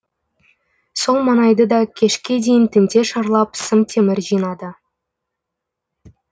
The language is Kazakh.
сол маңайды да кешке дейін тінте шарлап сым темір жинады